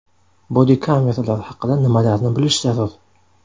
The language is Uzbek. Bodi-kameralar haqida nimalarni bilish zarur?